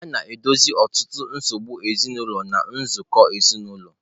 A na-edozi ọtụtụ nsogbu ezinụlọ na nzukọ ezinụlọ.